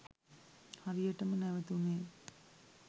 හරියටම නැවැතුනේ